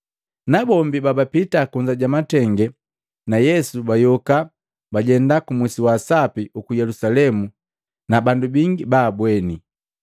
Nabombi bapita kunza ja matenge na Yesu pajayoka bajenda ku musi wa sapi uku Yelusalemu na bandu bingi baabweni.